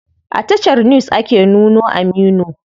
A tashar news ake nuno Aminu.